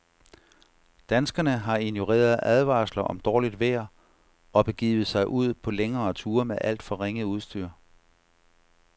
Danskerne har ignoreret advarsler om dårligt vejr og begivet sig ud på længere ture med alt for ringe udstyr.